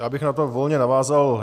Já bych na to volně navázal.